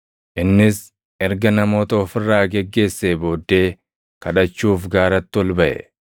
Innis erga namoota of irraa geggeessee booddee kadhachuuf gaaratti ol baʼe.